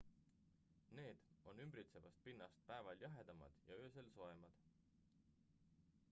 """need on ümbritsevast pinnast päeval jahedamad ja öösel soojemad.